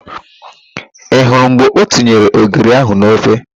Ị hụrụ mgbe o tinyere ogiri ahụ n'ofe?